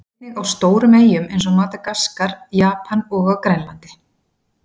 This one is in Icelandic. Einnig á stórum eyjum eins og Madagaskar, Japan og á Grænlandi.